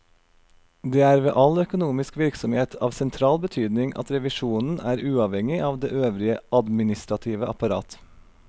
Det er ved all økonomisk virksomhet av sentral betydning at revisjonen er uavhengig av det øvrige administrative apparat.